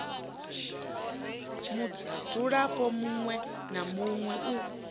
mudzulapo muṋwe na muṋwe u